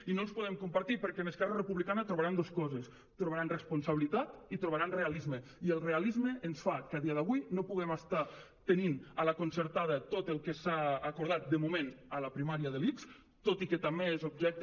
i no els podem compartir perquè en esquerra republicana trobaran dos coses trobaran responsabilitat i trobaran realisme i el realisme ens fa que a dia d’avui no puguem estar tenint a la concertada tot el que s’ha acordat de moment a la primària de l’ics tot i que també és objecte